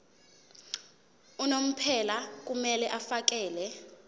unomphela kumele afakele